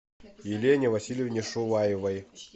елене васильевне шуваевой